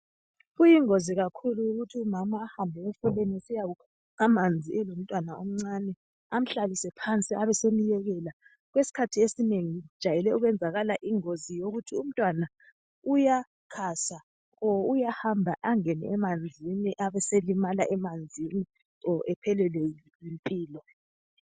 Kuyingozi kakhulu ukuthi umama ahambe emfuleni esiyakukha amanzi elomntwana omncane. Amhlalise phansi abesemuyekela, okwesikhathi esinengi kujayele ukwenzakala ingozi yokuthi umntwana uya khasa kumbe uyahamba angene emanzini abeselimala emanzini kumbe aphelelwe yimpilo.